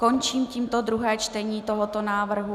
Končím tímto druhé čtení tohoto návrhu.